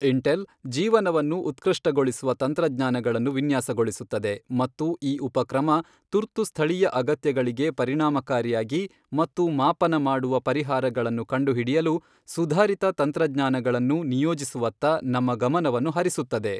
Intel ಜೀವನವನ್ನು ಉತ್ಕೃಷ್ಟಗೊಳಿಸುವ ತತ್ರಜ್ಞಾನಗಳನ್ನು ವಿನ್ಯಾಸಗೊಳಿಸುತ್ತದೆ ಮತ್ತು ಈ ಉಪಕ್ರಮ ತುರ್ತು ಸ್ಥಳೀಯ ಅಗತ್ಯಗಳಿಗೆ ಪರಿಣಾಮಕಾರಿಯಾಗಿ ಮತ್ತು ಮಾಪನ ಮಾಡುವ ಪರಿಹಾರಗಳನ್ನು ಕಂಡುಹಿಡಿಯಲು ಸುಧಾರಿತ ತಂತ್ರಜ್ಞಾನಗಳನ್ನು ನಿಯೋಜಿಸುವತ್ತ ನಮ್ಮ ಗಮನವನ್ನು ಹರಿಸುತ್ತದೆ.